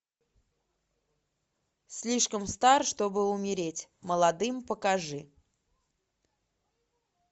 слишком стар чтобы умереть молодым покажи